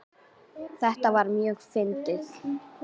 Þetta var mjög fyndið.